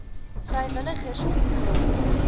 vrywilligers ontplooi